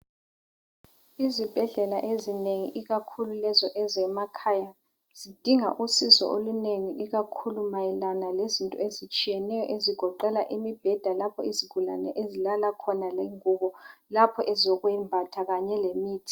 Izibhedlela ezinengi, ikakhulu lezo ezemakhaya. Zidinga usizo olunengi. lkakhulu mayelana lezinto ezitshiyeneyo, ezigoqela imibheda, lapho izigulane ezilala khona..Lengubo, lapho ezokwembatha, kanye lemithi.